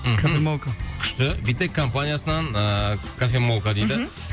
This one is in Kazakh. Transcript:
мхм кофемолка күшті витек компаниясынан ыыы кофемолка дейді мхм